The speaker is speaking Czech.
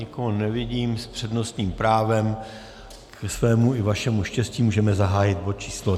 Nikoho nevidím s přednostním právem, ke svému i vašemu štěstí můžeme zahájit bod číslo